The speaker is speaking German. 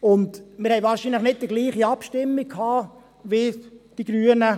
Zudem hatten wir wahrscheinlich nicht die gleiche Abstimmung wie die Grünen.